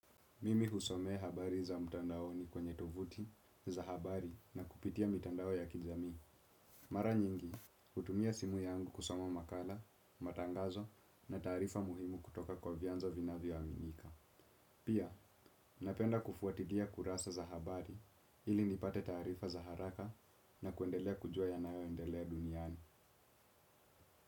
Mimi husomea habari za mtandaoni kwenye tovuti, za habari na kupitia mitandao ya kijamii. Mara nyingi, hutumia simu yangu kusoma makala, matangazo na taarifa muhimu kutoka kwa vyanzo vinavyoaminika. Pia, napenda kufuatilia kurasa za habari ili nipate taarifa za haraka na kuendelea kujua yanayoendelea duniani.